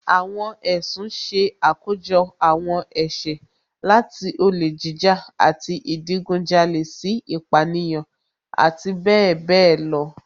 Àwọn ẹ̀sùn ṣe àkójọ àwọn ẹ̀ṣẹ̀, láti olè jíjà àti ìdigunjalè sí ìpánìyàn, àti bẹẹ bẹẹ lọ